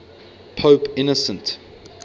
pope innocent